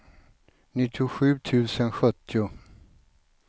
nittiosju tusen sjuttio